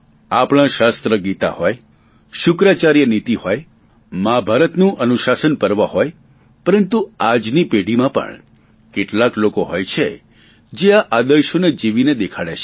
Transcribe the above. આપણા શાશ્ત્ર ગીતા હોય શુક્રાચાર્ય નીતિ હોય મહાભારતનું અનુશાશન પર્વ હોય પરંતુ આજની પેઢીમાં પણ કેટલાક લોકો હોય છે જે આ આદર્શોને જીવીને દેખાડે છે